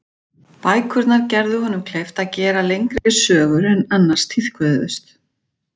Bækurnar gerðu honum kleift að gera lengri sögur en annars tíðkuðust.